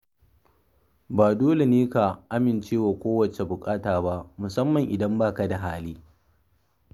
Ba dole ne ka amince da kowace buƙata ba, musamman idan ba ka da hali.